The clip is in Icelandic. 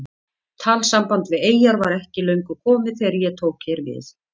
Talsamband við eyjar var ekki löngu komið þegar ég tók hér við.